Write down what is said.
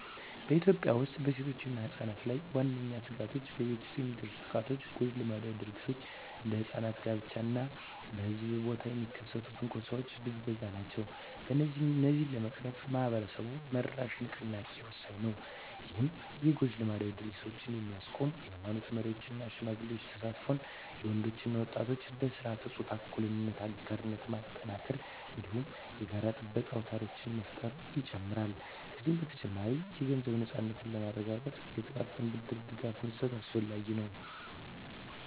በኢትዮጵያ ውስጥ በሴቶችና ሕጻናት ላይ ዋነኛ ስጋቶች በቤት ውስጥ የሚደርሱ ጥቃቶች፣ ጎጂ ልማዳዊ ድርጊቶች (እንደ ሕጻናት ጋብቻ) እና በሕዝብ ቦታ የሚከሰት ትንኮሳና ብዝበዛ ናቸው። እነዚህን ለመቅረፍ ማኅበረሰብ-መራሽ ንቅናቄዎች ወሳኝ ናቸው። ይህም የጎጂ ልማዳዊ ድርጊቶችን የሚያስቆም የኃይማኖት መሪዎች እና ሽማግሌዎች ተሳትፎን፣ የወንዶች እና ወጣቶች በሥርዓተ-ፆታ እኩልነት አጋርነት ማጠናከርን፣ እንዲሁም የጋራ ጥበቃ አውታሮችን መፍጠርን ይጨምራል። ከዚህ በተጨማሪ፣ የገንዘብ ነፃነትን ለማረጋገጥ የጥቃቅን ብድር ድጋፍ መስጠት አስፈላጊ ነው።